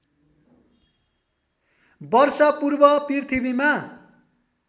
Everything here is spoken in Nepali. वर्ष पूर्व पृथ्वीमा